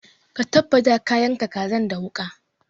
Ka tabbata ka yanka kazan da wuƙa!